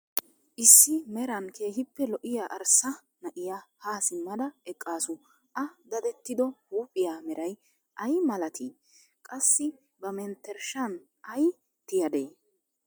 Issi meran keehippe lo'iya arssa na'iya ha simmada eqqaasu, a daddettiddo huuphphiya meray ay malatii? qassi ba mentershaan ay tiyadee?